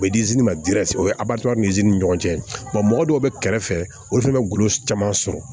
U bɛ o ye ni ɲɔgɔn cɛ mɔgɔ dɔw bɛ kɛrɛ fɛ olu fana bɛ golo caman sɔrɔ